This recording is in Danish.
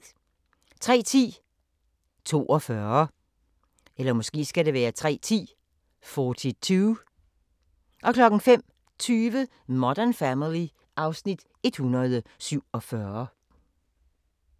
03:10: 42 05:20: Modern Family (Afs. 147)